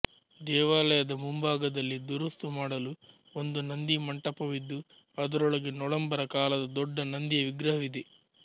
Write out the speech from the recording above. ದೇವಾಲಯದ ಮುಂಭಾಗದಲ್ಲಿ ದುರುಸ್ತು ಮಾಡಲು ಒಂದು ನಂದಿಮಂಟಪವಿದ್ದು ಅದರೊಳಗೆ ನೊಳಂಬರ ಕಾಲದ ದೊಡ್ಡ ನಂದಿಯ ವಿಗ್ರಹವಿದೆ